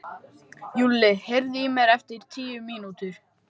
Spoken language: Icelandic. Júlli, heyrðu í mér eftir tíu mínútur.